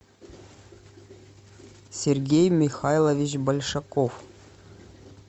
сергей михайлович большаков